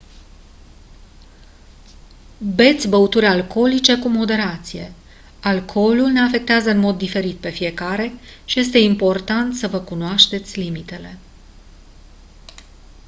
beți băuturi alcoolice cu moderație alcoolul ne afectează în mod diferit pe fiecare și este important să vă cunoașteți limitele